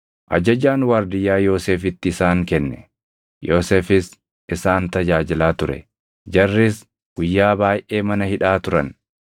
Ajajaan waardiyyaa Yoosefitti isaan kenne; Yoosefis isaan tajaajilaa ture. Jarris guyyaa baayʼee mana hidhaa turan;